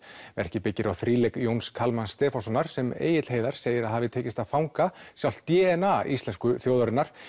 verkið byggir á Jóns Kalmans Stefánssonar sem Egill Heiðar segir að hafi tekist að fanga sjálft d n a íslensku þjóðarinnar